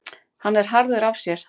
Hann er harður af sér